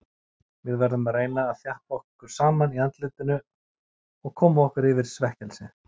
Við verðum að reyna að þjappa okkur saman í andlitinu og koma okkur yfir svekkelsið.